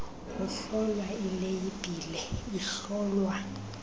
kuhlolwa ileyibhile ihlolwa